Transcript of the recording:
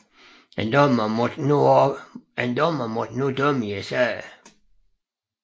En dommer måtte nu dømme i sagen